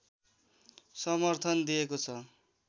समर्थन दिएको छ